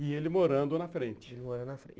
E ele morando na frente. E ele morando na frente.